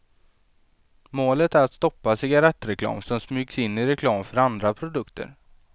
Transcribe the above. Målet är att stoppa cigarrettreklam som smygs in i reklam för andra produkter.